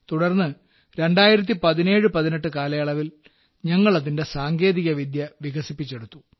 തുടർന്ന് 201718 കാലയളവിൽ ഞങ്ങൾ അതിന്റെ സാങ്കേതികവിദ്യ വികസിപ്പിച്ചെടുത്തു